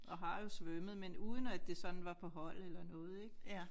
Og har jo svømmet men uden at det sådan var på hold eller noget ik